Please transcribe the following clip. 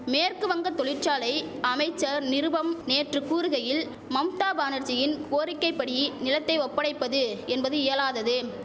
மேற்கு வங்க தொழிற்சாலை அமைச்சர் நிருபம் நேற்று கூறுகையில் மம்தா பானர்ஜியின் கோரிக்கைபடி நிலத்தை ஒப்படைப்பது என்பது இயலாதது